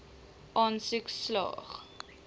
aansoek slaag